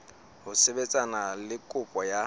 ho sebetsana le kopo ya